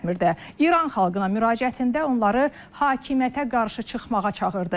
İran xalqına müraciətində onları hakimiyyətə qarşı çıxmağa çağırdı.